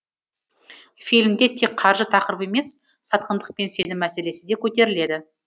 фильмде тек қаржы тақырыбы емес сатқындық пен сенім мәселесі де көтеріледі